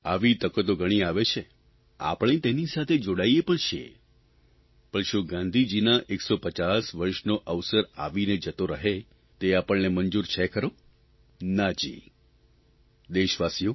આવી તકો તો ઘણી આવે છે આપણે તેની સાથે જોડાઇએ પણ છીએ પણ શું ગાંધીજીનાં 150 વર્ષનો અવસર આવીને જતો રહે તે આપણને મંજૂર છે ખરો ના જી દેશવાસીઓ